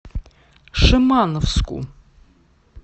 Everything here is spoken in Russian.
шимановску